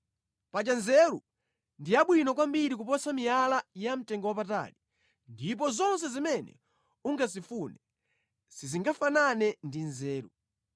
Paja nzeru ndi yabwino kwambiri kuposa miyala yamtengowapatali, ndipo zonse zimene ungazifune sizingafanane ndi nzeru.